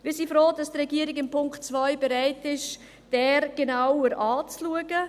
Wir sind froh, dass die Regierung bereit ist, den Punkt 2 genauer anzuschauen.